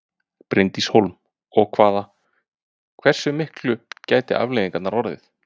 Bryndís Hólm: Og hvaða, hversu miklar gætu afleiðingarnar orðið?